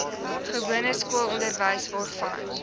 gewone skoolonderwys waarvan